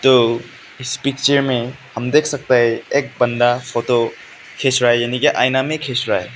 तो इस पिक्चर में हम देख सकते हैं एक बंदा फोटो खींच रहा है यानी कि आईना में खींच रहा है।